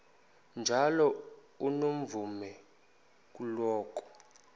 njalo unomvume kuloko